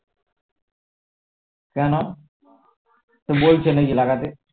কেন কেউ বলছে নাকি লাগাতে